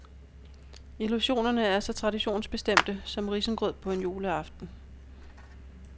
Illusionerne er så traditionsbestemte som risengrød på en juleaften.